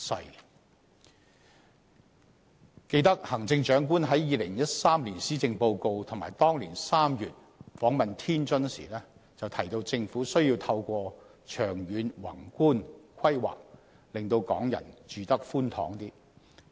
猶記得，行政長官在2013年施政報告中，以及當年3月訪問天津時，均提到政府需要透過長遠宏觀規劃，令港人"住得寬敞些"。